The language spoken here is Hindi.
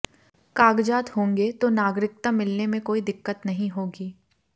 कागजात होंगे तो नागरिकता मिलने में कोई दिक्कत नहीं होगी